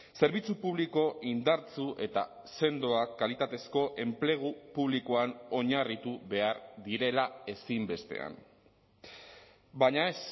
zerbitzu publiko indartsu eta sendoa kalitatezko enplegu publikoan oinarritu behar direla ezinbestean baina ez